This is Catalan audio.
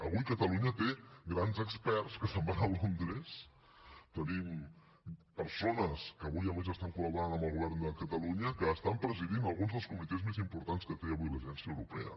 avui catalunya té grans experts que se’n van a londres tenim persones que avui a més estan col·laborant amb el govern de catalunya que estan presidint alguns dels comitès més importants que té avui l’agència europea